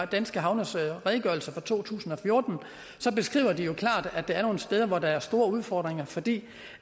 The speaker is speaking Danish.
danske havnes redegørelse for to tusind og fjorten så beskriver de jo klart at der er nogle steder hvor der er store udfordringer fordi